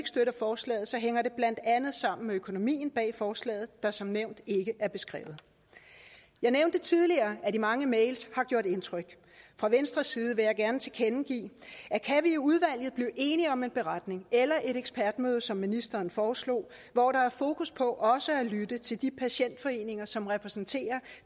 forslaget hænger det blandt andet sammen med økonomien bag forslaget der som nævnt ikke er beskrevet jeg nævnte tidligere at de mange mails har gjort indtryk fra venstres side vil jeg gerne tilkendegive at kan vi i udvalget blive enige om en indberetning eller et ekspertmøde som ministeren foreslår hvor der er fokus på også at lytte til de patientforeninger som repræsenterer